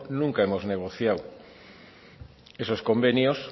nunca hemos negociado esos convenios